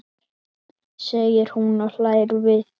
segir hún og hlær við.